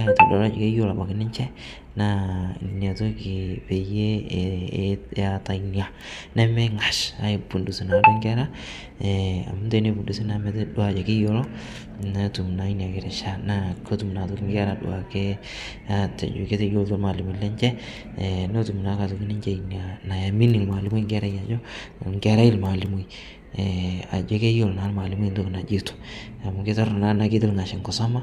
aitodol ajo keyelo abaki ninshe naa inia toki peiyie eata inia nemeing'ash aipundus naaduo nkera amu teneipundusii naa metedua ajo kiyolo netum naa inia kirishaa naa kotum naa otoki duake nkera atejo keteyolitoo lmaalimoni lenshe notum naa otoki ake ninshe inia nayaminii lmaalimoi nkerai ajoo, nkerai lmaalimoi ajo keyelo naa lmaalimoi ntoki najoito amu keitorno naa tanaa keti lghash nkisoma